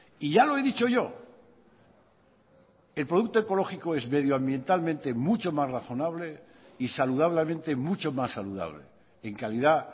y ya lo he dicho yo el producto ecológico es medioambientalmente mucho más razonable y saludablemente mucho más saludable en calidad